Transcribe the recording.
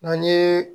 Na ni